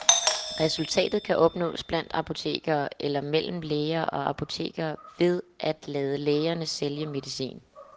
Resultatet kan opnås blandt apotekerne, eller mellem læger og apoteker ved at lade lægerne sælge medicin.